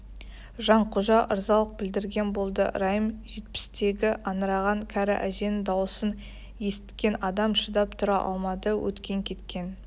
жанқожа ырзалық білдірген болды райым жетпістегі аңыраған кәрі әженің даусын есіткен адам шыдап тұра алмады өткен-кеткен